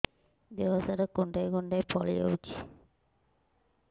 ଦେହ ସାରା କୁଣ୍ଡାଇ କୁଣ୍ଡାଇ ଫଳି ଯାଉଛି